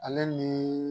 Ale ni